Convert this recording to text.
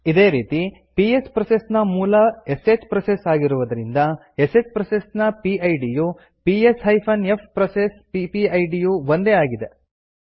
ಇದೇ ರೀತಿ PS process ನ ಮೂಲ ಶ್ ಪ್ರೋಸೆಸ್ ಆಗಿರುವುದರಿಂದ ಶ್ ಪ್ರೋಸೆಸ್ ನ ಪಿಡ್ ಯು ps ಫ್ ಪ್ರೋಸೆಸ್ ಪಿಪಿಐಡಿ ಯು ಒಂದೇ ಆಗಿದೆ